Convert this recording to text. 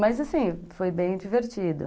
Mas assim, foi bem divertido.